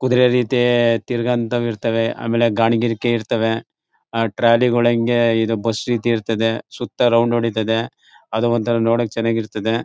ಕುದುರೆ ರೀತಿ ತಿರ್ಗೋ ಅಂಥವ್ ಇರ್ತವೆ ಆಮೇಲೆ ಗಾಳಿ ಗಿರಿಕೆ ಇರ್ತವೆ ಆ ಟ್ರಾಲಿಗಳ ಹಂಗೆ ಬಸ್ ರೀತಿ ಇರ್ತದೆ ಸುತ್ತ ರೌಂಡ್ ಹೊಡೀತದೆ ಅದ್ ಒಂಥರಾ ನೋಡೋಕ್ ಚೆನ್ನಾಗಿರ್ತದೆ.